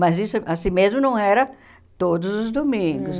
Mas isso, assim mesmo, não era todos os domingos.